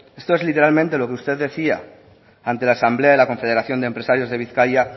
esto es literalmente lo que usted decía ante la asamblea de la confederación de empresarios de bizkaia